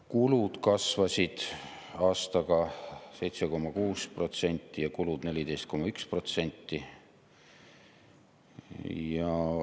Kulud kasvasid aastaga 7,6% ja kulud 14,1%.